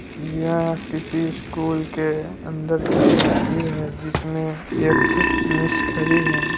ये किसी स्कूल के अंदर के तस्वीर है। जिसमें एक